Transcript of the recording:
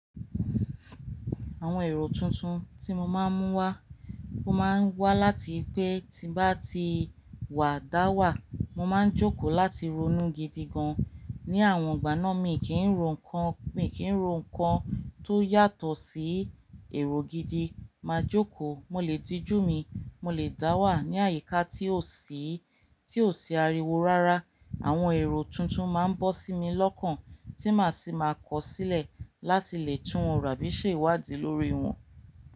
Àwọn èrò tuntun tí mo máa ń mú wá, ó máa ń wá láti pé tí bá ti wà, dá wà, mo máa ń jókòó láti ronú gidi gan. Ni àwọn ìgbà náà mi kì í ro nǹkan, mi kì í ro nǹkan tó yàtọ̀ sí èrò gidi. Máa jókòó, mo lè dijú mi, mo lè dá wà ní àyíká tí ò sí, tí ò sí ariwo rárá. Àwọn èrò tuntun máa ń bọ́ sí mi lọ́kàn tí màá sì máa kọ̀ sílẹ̀ láti lè tún un rà bí ṣe ìwádìí lórí wọn.